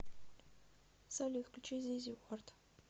салют включи зизи вард